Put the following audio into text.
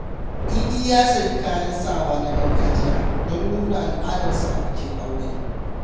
Idi ya sayi kayan sawa na gargajiya don nuna al’adarsa a bikin aure.